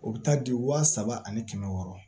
O bɛ taa di wa saba ani kɛmɛ wɔɔrɔ